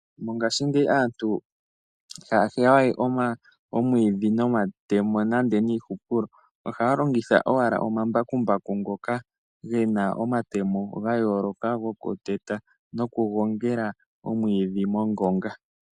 Mongaashingeyi aantu ihaya heya we omwiidhi nomatemo nenge niihupulo. Ohaya longitha owala omambakumbaku ngoka gena omatemo ga yooloka goku teta noku gongela omwiidhi mongonga.